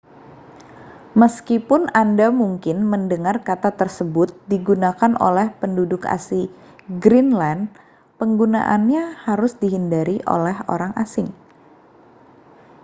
meskipun anda mungkin mendengar kata tersebut digunakan oleh penduduk asli greenland penggunaannya harus dihindari oleh orang asing